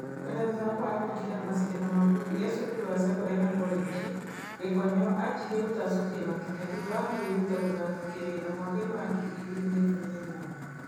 O na thutha wa kwaga kũingĩra macindano ma bũrũri e cukuru wa cekondarĩ na korenji, Gĩkonyo anjirie gũtacũkia makinya thutha wa kũĩruta gũthaka kĩwĩra mwakainĩ wa ngiri igĩrĩ na ikũmĩ na inyanya.